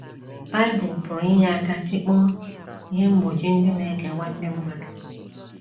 Bible pụrụ inye aka tikpọọ ihe mgbochi ndị na - ekewa ndị mmadụ